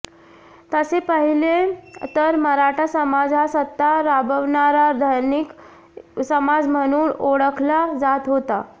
तसे पाहिले तर मराठा समाज हा सत्ता राबवणारा धनिक समाज म्हणून ओळखला जात होता